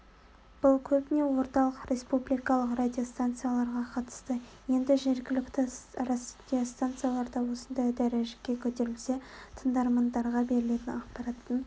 бұл көбіне орталық республикалық радиостанцияларға қатысты енді жергілікті радиостанциялар да осындай дәрежеге көтерілсе тыңдармандарға берілетін ақпараттың